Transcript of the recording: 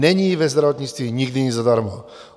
Není ve zdravotnictví nikdy nic zadarmo.